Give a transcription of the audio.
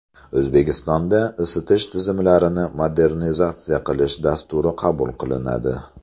O‘zbekistonda isitish tizimlarini modernizatsiya qilish dasturi qabul qilinadi.